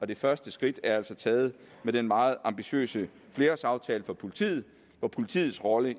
det første skridt er altså taget med den meget ambitiøse flerårsaftale for politiet hvor politiets rolle